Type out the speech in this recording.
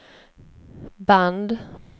band